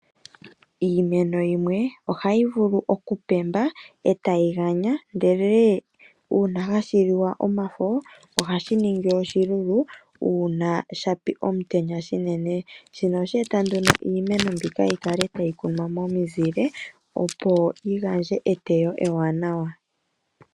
Iimeni yimwe oha yi vulu oku pemba e tayi ganya. Ndele uuna hashiliwa omafo, ohashi ningi oshilulu uuna shapi omutenya shinene, shino ohasheeta nduno iimeno mbino yikale tayikunwa momuzile opo ye ete eteyo ewanawa.